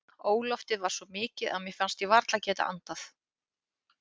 Óloftið var svo mikið að mér fannst ég varla geta andað.